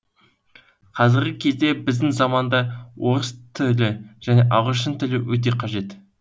қазіргі кезде біздің заманда орыс т және ағылшын тілі өте қажет